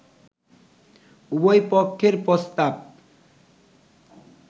“উভয় পক্ষের প্রস্তাব